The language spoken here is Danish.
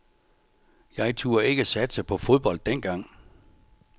Jeg turde ikke satse på fodbold dengang.